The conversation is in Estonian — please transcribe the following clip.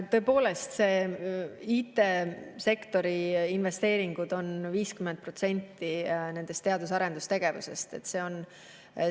Tõepoolest, IT-sektori investeeringud on 50% nendest teadus- ja arendustegevuse investeeringutest.